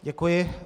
Děkuji.